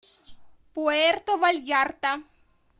пуэрто вальярта